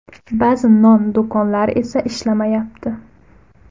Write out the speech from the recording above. Ba’zi non do‘konlari esa ishlamayapti.